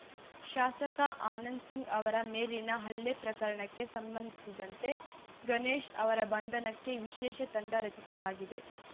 ಶಾಸಕ ಆನಂದ್‌ ಸಿಂಗ್‌ ಅವರ ಮೇಲಿನ ಹಲ್ಲೆ ಪ್ರಕರಣಕ್ಕೆ ಸಂಬಂಧಿಸಿದಂತೆ ಗಣೇಶ್‌ ಅವರ ಬಂಧನಕ್ಕೆ ವಿಶೇಷ ತಂಡ ರಚಿಸಲಾಗಿದೆ